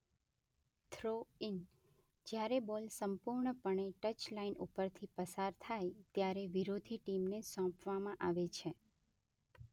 Throw-in: જ્યારે ball સંપૂર્ણપણે touch line ઉપરથી પસાર થાય ત્યારે વિરોધી ટીમને સોંપવામાં આવે છે.